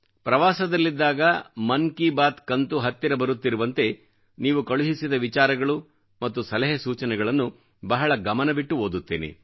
ಪ್ರವಾಸದಲ್ಲಿದ್ದಾಗ ಮನ್ ಕಿ ಬಾತ್ ಕಂತು ಹತ್ತಿರ ಬರುತ್ತಿರುವಂತೆ ನೀವು ಕಳುಹಿಸಿದ ವಿಚಾರಗಳು ಮತ್ತು ಸಲಹೆ ಸೂಚನೆಗಳನ್ನು ಬಹಳ ಗಮನವಿಟ್ಟು ಓದುತ್ತೇನೆ